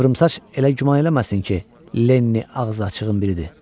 Qıvrımsaç elə güman eləməsin ki, Lenny ağzıaçığın biridir.